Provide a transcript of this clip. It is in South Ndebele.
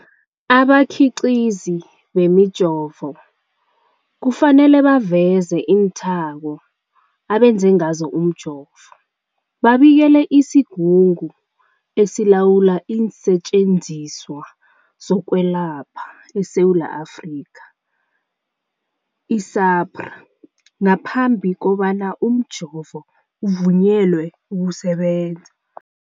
Abakhiqizi bemijovo kufanele baveze iinthako abenze ngazo umjovo, babikele isiGungu esiLawula iinSetjenziswa zokweLapha eSewula Afrika, i-SAHPRA, ngaphambi kobana umjovo uvunyelwe ukusebenza.